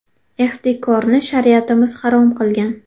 Ehtikorni shariatimiz harom qilgan.